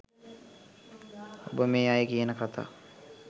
ඔබ මේ අය කියන කථා